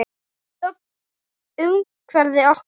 Þögnin umvafði okkur.